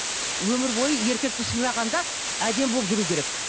өмірбойы еркекті сыйлағанда әдемі болып жүру керек